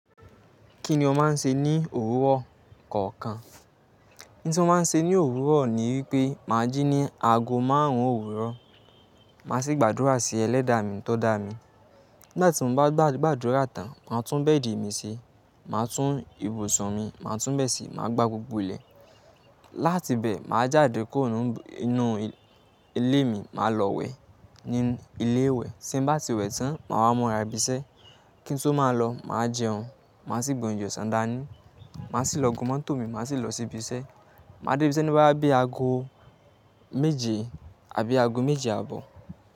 Kí ni ó máa ń ṣe ní òwúrọ̀ kọ̀ọ̀kan? Ohun ti mo máa ń ṣe ní òwúrọ̀ ni wípé máa jí ní aago márùn-ún òwúrọ̀, màá ṣe gbàdúrà sí Ẹlẹ́dàá mi tó dá mi. Nigbati mo bá gbàdúrà tán, màá tún bẹ́ẹ̀dì mi ṣe, màá tún ibùsùn mi, màá tún bẹẹ ṣi, màá gbá gbogbo ilẹ̀. Látibẹ̀, màá jáde kúrò nínú ilé mi, màá lọ wẹ̀ nínú ilé ìwẹ̀. Tí n bá ti wẹ̀ tán, màá wá múra ibi iṣẹ́. Kí n tó máa lọ, màá jẹun, màá sì gbe oúnjẹ ọsán dánì, màá sì lọ gun mótò mi, màá sì lọ sí ibi iṣẹ́. Màá dé ibi iṣẹ́ ní boya bí i aago méje àbí aago méje àbọ̀